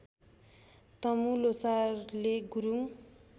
तमु ल्होसारले गुरूङ